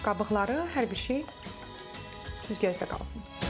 Qabıqları, hər bir şey süzgəcdə qalsın.